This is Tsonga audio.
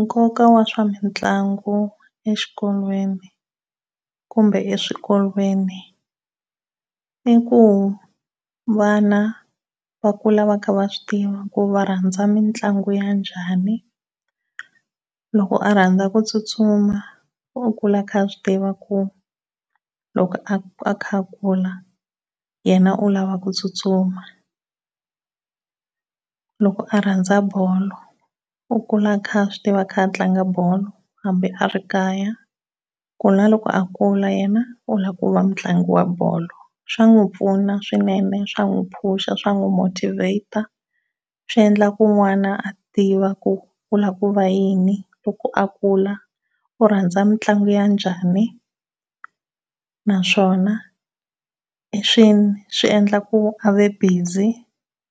Nkoka wa swa mitlangu exikolweni kumbe eswikolweni i ku vana va kula va kha va swi tiva ku va rhandza mitlangu ya njhani loko a rhandza ku tsutsuma u kula a kha a swi tiva ku loko a kha a kula yena u lava ku tsutsuma. Loko a rhandza bolo u kula a kha a swi tiva a kha a tlanga bolo hambi a ri kaya ku na loko a kula hina u lava ku va mutlangi wa bolo. Swa n'wi pfuna swinene swa n'wi push swa n'wi motivate swi endla ku n'wana a tiva ku lava ku va yini loko a kula u rhandza mitlangu ya njhani naswona swi hi swihi swi endlaka ku a va busy